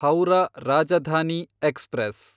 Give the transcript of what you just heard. Howrah Rajdhani express